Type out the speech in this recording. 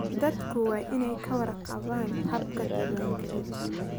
Dadku waa inay ka warqabaan habka diiwaangelinta.